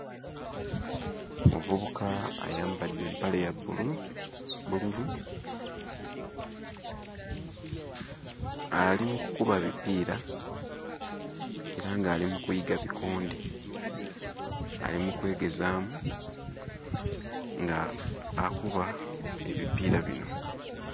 Muvubuka ayambadde empale ya bbulu bbululu. Ali mu kukuba bipiira era nga ali mu kuyiga bikonde. Ali mu kwegezaamu nga akuba ebipiira bino